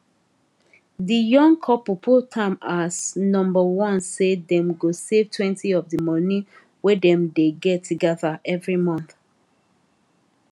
de young couple put am as number one say dem go savetwentyof de monie wey dem dey get together every month